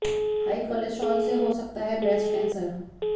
high cholesterol से हो सकता है ब्रेस्ट कैंसर